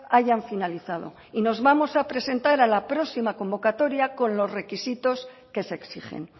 hayan finalizado y nos vamos a presentar a la próxima convocatoria con los requisitos que se exigen